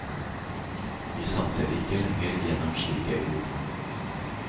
Vi sanser ikke lenger gjennom slike ord.